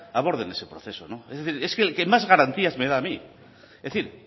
aborden ese proceso es decir es que el que más garantías me da a mí es decir